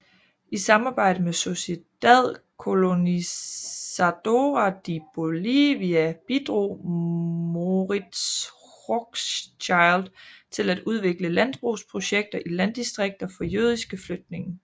I samarbejde med Sociedad Colonizadora de Bolivia bidrog Moritz Hochschild til at udvikle landbrugsprojekter i landdistrikter for jødiske flygtninge